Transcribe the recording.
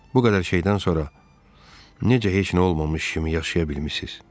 Bu qədər şeydən sonra necə heç nə olmamış kimi yaşaya bilmisiz?